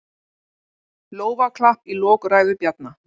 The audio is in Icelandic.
Lófaklapp í lok ræðu Bjarna